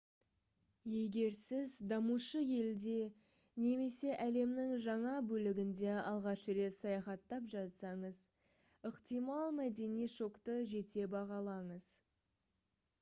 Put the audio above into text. егер сіз дамушы елде немесе әлемнің жаңа бөлігінде алғаш рет саяхаттап жатсаңыз ықтимал мәдени шокты жете бағалаңыз